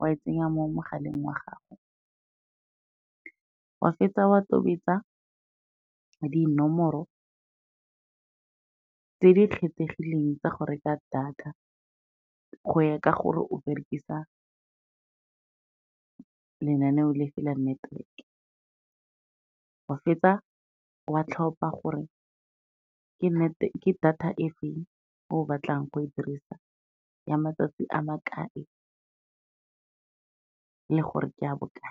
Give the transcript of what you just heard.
wa e tsenya mo mogaleng wa gago, wa fetsa wa tobetsa dinomoro tse di kgethegileng tsa go reka data go ya ka gore o berekisa lenaneo le feng la network-e, wa fetsa wa tlhopha gore ke data e feng e o batlang go e dirisa, ya matsatsi a ma kae le gore ke ya bokae.